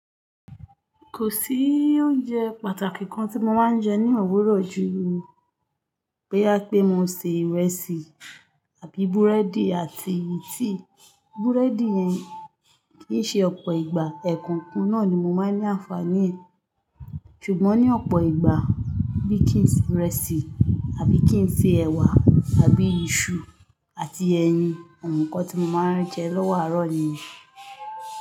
Kò sí oúnjẹ pàtàkì kan tí mó máa ń jẹ ní òwúrọ̀ ju, pé á pé mo se ìrẹsìó àbí búrẹ́dì àti tíí búrẹ́dì yẹn kì í ṣe ọ̀pọ̀ ìgbà, ẹ̀ kàn kan náà ni mo máa ń ní àǹfààní ẹ̀. Ṣùgbọ́n ní ọ̀pọ̀ ìgbà, bí kì í se ìrẹsì àbí kì í fi ẹ̀wà àbí iṣu àti ẹyin, àwọn nǹkan tí mo máa ń jẹ lọ́wọ́ àárọ̀ ni.